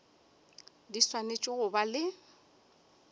di swanetše go ba le